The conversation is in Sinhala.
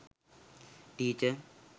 teacher